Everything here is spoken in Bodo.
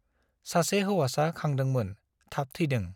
सासे हौवासा खांदोंमोन , थाब थैदों ।